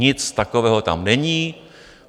Nic takového tam není.